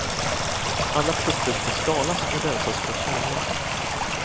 Alla frukter ska skalas och rensas från kärnor.